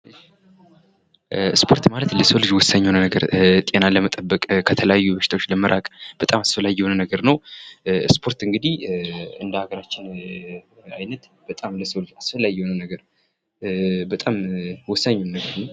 ስፖርት ማለት ለሰዉ ልጅ ወሳኝ የሆነ ነገር ጤናን ለመጠበቅ ከተለያዩ በሽታዎች ለመራቅ በጣም አስፈላጊ የሆነ ነገር ነዉ። ስፖርት እንግዳህ እንደ ለገራችን አይነት በጣም ለሰዉ ልጅ አስፈላጊዉ ነገር በጣም ወሳኙ ነገር ነዉ።